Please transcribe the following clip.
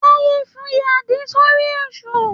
Táyé fi àdí sórí Èṣù.